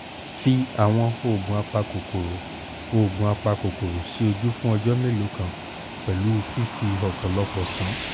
fi àwọn oògùn apakòkòrò oògùn apakòkòrò sí ojú fún ọjọ́ mélòó kan pẹ̀lú fífi ọ̀pọ̀lọpọ̀ ṣàn